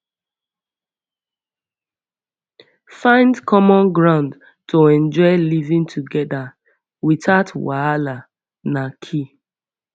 find common ground to enjoy living together without wahala na key